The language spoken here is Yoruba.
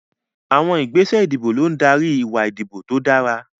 Àwọn ìgbésẹ̀ ìdìbò ló ń darí ìwà ìdìbò tó dára.